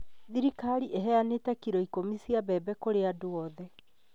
Thirikari ĩheanĩte kilo ikũmi cia mbebe kũrĩ andũ other